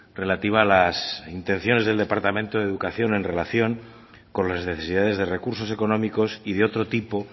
relativa a las intenciones del departamento de educación en relación con las necesidades de recursos económicos y de otro tipo